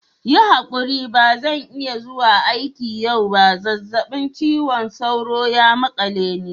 Yi hakuri ba zan iya zuwa aiki yau ba. zazzabin cizon sauro ya makale ni.